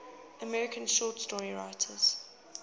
american short story writers